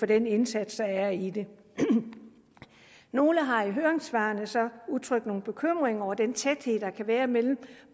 den indsats der er i det nogle har så i høringssvarene udtrykt nogle bekymringer over den tæthed der kan være mellem